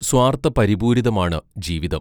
സ്വാർഥപരിപൂരിതമാണ് ജീവിതം!